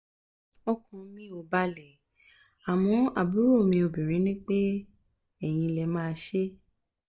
ọkàn mi ò balẹ̀ àmọ́ àbúrò mi obinrin ní pé eyín lè máa ṣe é